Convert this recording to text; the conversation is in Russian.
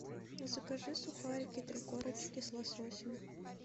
закажи сухарики три корочки с лососем